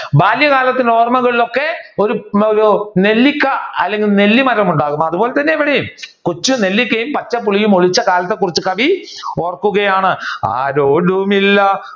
ബാല്യകാലത്തിന്റെ ഓർമകളിൽ ഒക്കെ ഒരു ഒരു നെല്ലിക്ക അല്ലെങ്കിൽ ഒരു നെല്ലിമരം ഉണ്ടാവും. അതുപോലെതന്നെയാണ് ഇവിടെയും. കൊച്ചുനെല്ലിക്കയും പച്ചപ്പുളിയും ഒളിച്ച കാലത്തെ കുറിച്ച് കവി ഓർക്കുകയാണ് ആരോരുമില്ല